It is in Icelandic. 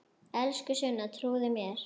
Elsku Sunna, trúðu mér!